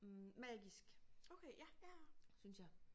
Hm magisk synes jeg